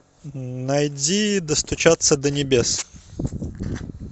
найди достучаться до небес